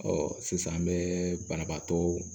Ɔ sisan an bɛ banabaatɔ